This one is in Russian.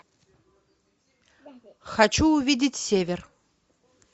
хочу увидеть север